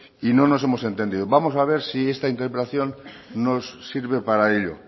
y no nos hemos entendido vamos a ver si esta interpelación nos sirve para ello